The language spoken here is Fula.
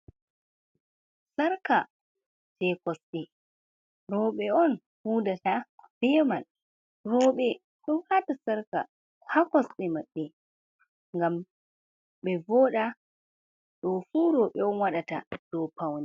Sarka je kosɗe roɓe’on hudata beman, roɓe ɗon wata sarka hakosɗe maɓɓe ngam be voɗa ɗofu roɓe’on waɗata.